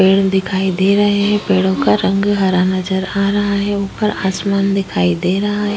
पेड़ दिखाई दे रहे हैं पेड़ों का रंग हरा नजर आ रहा है ऊपर आसमान दिखाई दे रहा है।